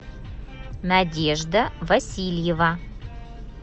надежда васильева